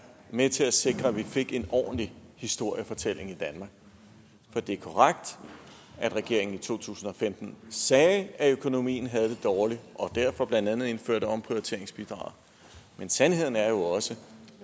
med til at sikre at vi fik en ordentlig historiefortælling i danmark for det er korrekt at regeringen i to tusind og femten sagde at økonomien havde det dårligt og derfor blandt andet indførte omprioriteringsbidraget men sandheden er jo også